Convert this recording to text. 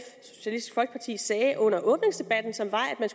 socialistisk folkeparti sagde under åbningsdebatten som var at man